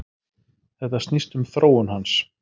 Þetta snýst um þróun hans.